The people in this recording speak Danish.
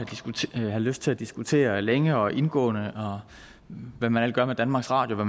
have lyst til at diskutere længe og indgående herunder hvad man gør ved danmarks radio og